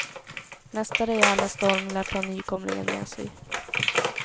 Nästa rejäla storm lär ta nykomlingen med sig.